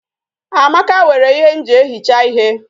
Amaka were ihe m ji ehicha ihe